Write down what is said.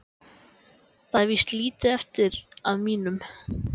Það er víst lítið eftir af mínum!